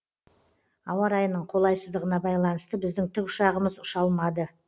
ауа райының қолайсыздығына байланысты біздің тікұшағымыз ұша алмады